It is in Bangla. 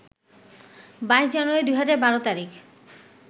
২২ জানুয়ারি ২০১২ তারিখ